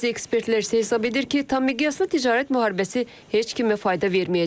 Bəzi ekspertlər isə hesab edir ki, tammiqyaslı ticarət müharibəsi heç kimə fayda verməyəcək.